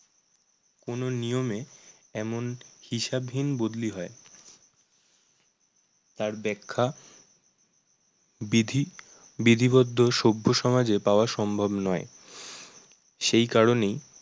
কোনো নিয়মে এমন হিসাবহীন বদলি হয় তার ব্যাখ্যা ~বিধি বিধিবদ্ধ সভ্য সমাজে পাওয়া সম্ভব নয়। সেই কারণেই